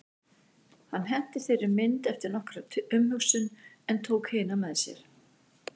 Hann henti þeirri mynd eftir nokkra umhugsun en tók hina með sér.